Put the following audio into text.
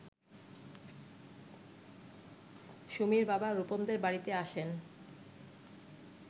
সুমির বাবা রুপমদের বাড়িতে আসেন